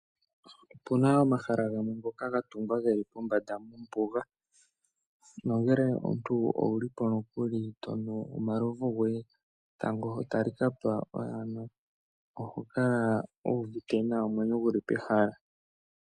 Opuna omahala gamwe ngoka gatungwa geli pombanda mombuga nongelw omuntu owulipo nokuli tonu omalovu goye etango sho talikapa oyana oho kala wu uvite nawa omwenyo guli pehala .